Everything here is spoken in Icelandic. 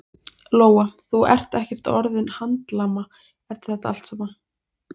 Lóa: Þú ert ekkert orðinn handlama eftir þetta allt saman?